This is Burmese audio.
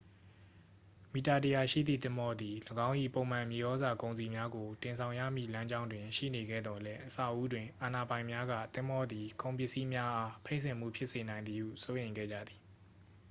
မီတာ 100 ရှိသည့် သင်္ဘောသည် ၎င်း၏ ပုံမှန်မြေဩဇာကုန်စည်များကို တင်ဆောင်ရမည့်လမ်းကြောင်းတွင်ရှိနေခဲ့သော်လည်း အစဦးတွင် အာဏာပိုင်များက သင်္ဘောသည် ကုန်ပစ္စည်းများအား ဖိတ်စင်မှုဖြစ်စေနိုင်သည်ဟု စိုးရိမ်ခဲ့ကြသည်